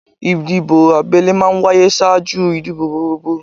Ìdìbò abẹ́lé máa ń wáyé ṣáájú ìdìbò gbogbogbò